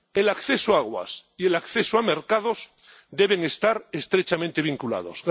El acceso a aguas y el acceso a mercados deben estar estrechamente vinculados.